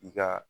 I ka